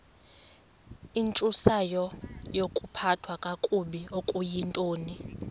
intsusayokuphathwa kakabi okuyintoni